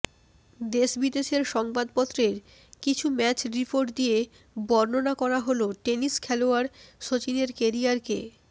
দেশ বিদেশের সংবাদপত্রের কিছু ম্যাচ রিপোর্ট দিয়ে বর্ণনা করা হল টেনিস খেলোয়াড় সচিনের কেরিয়ারকে